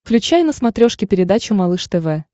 включай на смотрешке передачу малыш тв